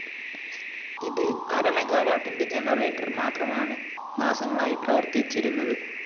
ഇതില്‍ അര മെഗാവാട്ടിന്റെ ജനറേറ്റർ മാത്രമാണ് മാസങ്ങളായി പ്രവര്‍ത്തിച്ചിരുന്നത്